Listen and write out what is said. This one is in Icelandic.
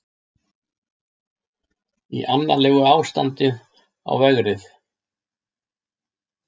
Í annarlegu ástandi á vegrið